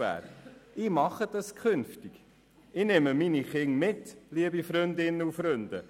Künftig werde ich meine Kinder hierher mitbringen, liebe Freundinnen und Freunde!